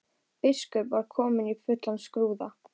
Biskup var kominn í fullan skrúða.